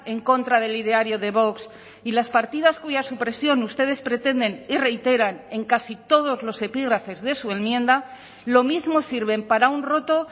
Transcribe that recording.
en contra del ideario de vox y las partidas cuya supresión ustedes pretenden y reiteran en casi todos los epígrafes de su enmienda lo mismo sirven para un roto